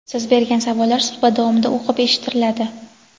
Siz bergan savollar suhbat davomida o‘qib eshittiriladi.